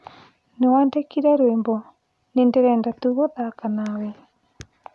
no wandikire rwĩmbo nĩndĩrenda tu gũthaka nawe